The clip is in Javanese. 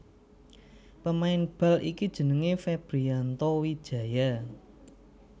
Pemain bal iki jenengé Febrianto Wijaya